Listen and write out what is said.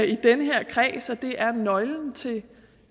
i den her kreds er det er nøglen til